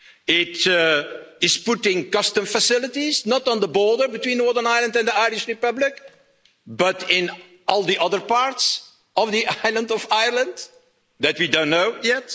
It is putting custom facilities, not on the border between Northern Ireland and the Irish Republic, but in all the other parts of the island of Ireland that we don't know yet.